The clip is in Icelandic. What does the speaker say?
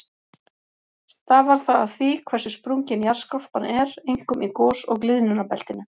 Stafar það af því hversu sprungin jarðskorpan er, einkum í gos- og gliðnunarbeltinu.